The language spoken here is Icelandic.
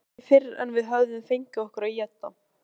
En ekki fyrr en við höfum fengið okkur að éta.